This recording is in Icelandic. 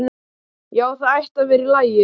Já, það ætti að vera í lagi.